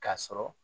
K'a sɔrɔ